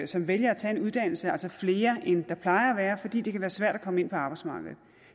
som vælger at tage en uddannelse altså flere end der plejer at være fordi det kan være svært at komme ind på arbejdsmarkedet